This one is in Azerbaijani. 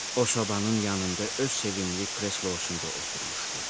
O sobanın yanında öz sevimli kreslosunda oturmuşdu.